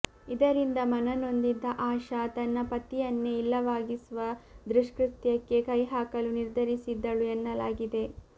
ಇದರಿಂದ ಮನನೊಂದಿದ್ದ ಆಶಾ ತನ್ನ ಪತಿಯನ್ನೆ ಇಲ್ಲವಾಗಿಸುವ ದುಷ್ಕೃತ್ಯಕ್ಕೆ ಕೈಹಾಕಲು ನಿರ್ಧರಿಸಿದ್ದಳು ಎನ್ನಲಾಗಿದೆ